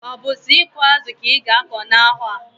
Obu so iku azu ka iga ako na aha?